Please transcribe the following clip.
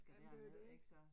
Jamen det jo det